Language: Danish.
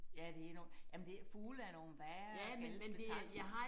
Ja det enormt ja men det fugle er nogle værre gale spetakler